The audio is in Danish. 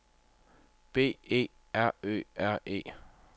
B E R Ø R E